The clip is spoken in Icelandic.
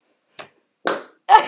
Hún stendur líka upp.